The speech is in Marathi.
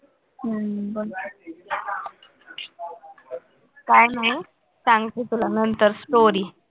हम्म बघ काय नाही सांगते तुला नंतर story